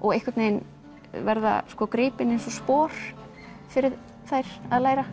og einhvern veginn verða gripin eins og spor fyrir þær að læra